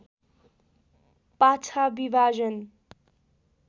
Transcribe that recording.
पाछा विभाजन